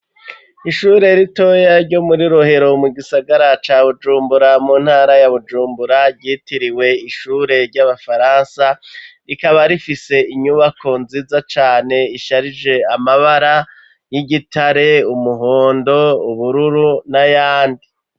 Ishure ritoya ryo muri Rohero mu gisagara ca Bujumbura mu ntara ya Bujumbura ryitiriwe ishure ry'abafaransa rikaba rifise inyubako nziza cane isharije amabara y'igitare umuhondo ubururu na yandi